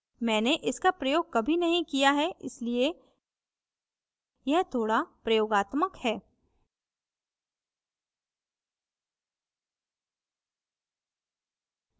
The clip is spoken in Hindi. मैंने इसका प्रयोग कभी नहीं किया है इसलिए यह थोड़ा प्रयोगात्मक है